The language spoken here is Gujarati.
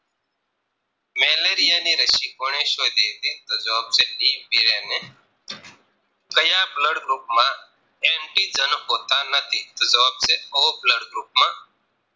Malaria ની રશી કોને શોધી હતી દીપ વીરેને ક્યાં Blood group માં Anti Jan હોતા નથી તો જવા છે O Blood group માં